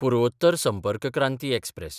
पुर्वोत्तर Sampark Kranti express